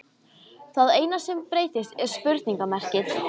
Það eina sem breytist er spurningarmerkið.